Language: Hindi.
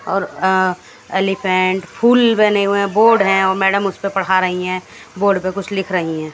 और अ एलीफेंट फूल बने हुए है बोर्ड है व मैडम उसपे पढ़ा रही हैं बोर्ड पे कुछ लिख रही है।